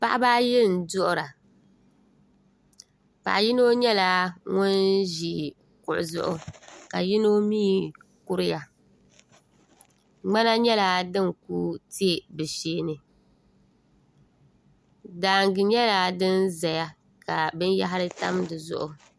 paɣaba ayi n-duɣira paɣa yino nyɛla ŋun ʒia kuɣu zuɣu ka yino mi kuriya ŋmana nyɛla din kuli te bɛ shee ni daanŋa nyɛla din zaya ka binyahiri tam di zuɣu